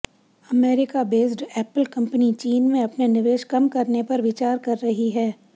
America based Apple company चीन में अपने निवेश कम करने पर विचार कर रही है